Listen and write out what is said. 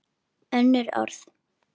Önnur orð.